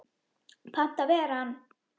Panta að vera hann.